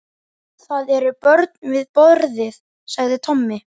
Mér þætti vænt um ef þú slepptir titlinum sagði Friðrik.